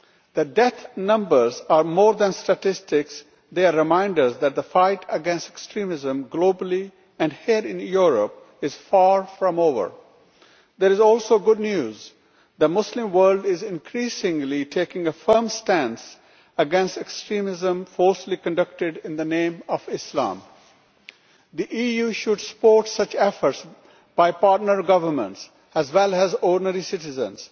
The death numbers are more than statistics, they are reminders that the fight against extremism, globally and here in Europe, is far from over. There is also good news the Muslim world is increasingly taking a firm stance against extremism falsely conducted in the name of Islam. The EU should support such efforts by partner governments as well as ordinary citizens.